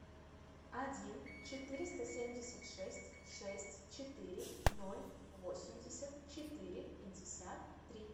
один четыреста семьдесят шесть шесть четыре ноль восемьдесят четыре пятьдесят три